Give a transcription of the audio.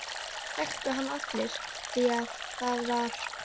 Þeir þekktu hann allir því það var